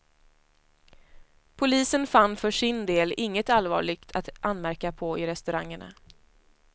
Polisen fann för sin del inget allvarligt att anmärka på i restaurangerna.